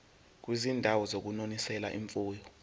kwizindawo zokunonisela imfuyo